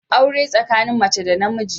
Aure tsakanin mace da namiji